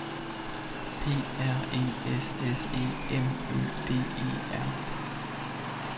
P R E S S E M Ø D E R